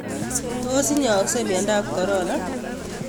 Tos nyaayakse myontaab corona?